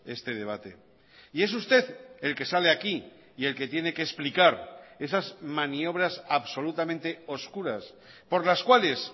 este debate y es usted el que sale aquí y el que tiene que explicar esas maniobras absolutamente oscuras por las cuales